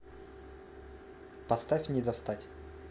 поставь не достать